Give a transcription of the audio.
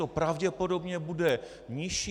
To pravděpodobně bude nižší.